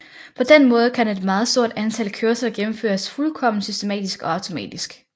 På den måde kan et meget stort antal kørsler gennemføres fuldkommen systematisk og automatisk